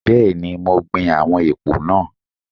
Bẹ́ẹ̀ni, mo gbin àwọn èpò náà.